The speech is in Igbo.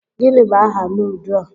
Gịnị bụ aha nudu a?